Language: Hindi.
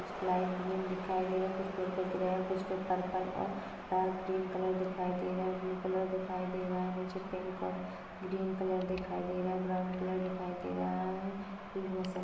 कुछ लाईट ग्रीन दिखाई दे रहा है कुछ पर्पल ग्रे कुछ मे पर्पल और डार्क ग्रीन कलर दिखाई दे रहा है ब्लू कलर दिखाई दे रहा है नीचे पिंक और ग्रीन कलर दिखाई दे रहा हैं कुछ बहुत सारा --